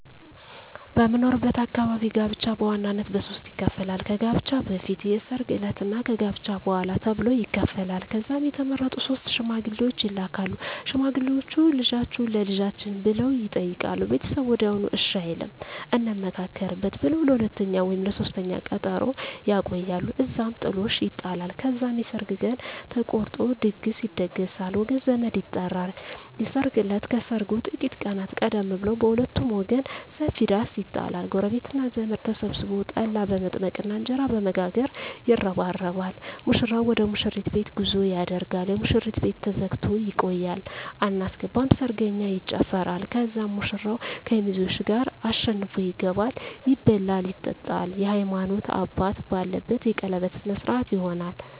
በምኖርበት አካባቢ ጋብቻ በዋናነት በሦስት ይከፈላል። ከጋብቻ በፊት፣ የሰርግ ዕለት እና ከጋብቻ በኋላ ተብሎ ይከፈላል። ከዛም የተመረጡ ሶስት ሽማግሌዎች ይላካሉ። ሽማግሌዎቹ "ልጃችሁን ለልጃችን" ብለው ይጠይቃሉ። ቤተሰብ ወዲያውኑ እሺ አይልም፤ "እንመካከርበት" ብለው ለሁለተኛ ወይም ለሦስተኛ ቀጠሮ ያቆያሉ። እዛም ጥሎሽ ይጣላል። ከዛም የሰርግ ቀን ተቆርጦ ድግስ ይደገሳል፣ ወገን ዘመድ ይጠራል። የሰርግ እለት ከሰርጉ ጥቂት ቀናት ቀደም ብሎ በሁለቱም ወገን ሰፊ ዳስ ይጣላል። ጎረቤትና ዘመድ ተሰብስቦ ጠላ በመጥመቅና እንጀራ በመጋገር ይረባረባል። ሙሽራው ወደ ሙሽሪት ቤት ጉዞ ያደርጋል። የሙሽሪት ቤት ተዘግቶ ይቆያል። አናስገባም ሰርገኛ ይጨፋራል። ከዛም ሙሽራው ከሚዜዎቹ ጋር አሸንፎ ይገባል። ይበላል ይጠጣል፣ የሀይማኖት አባት ባለበት የቀለበት ስነ ስሮአት ይሆናል